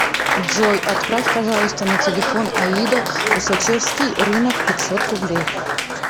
джой отправь пожалуйста на телефон аида усачевский рынок пятьсот рублей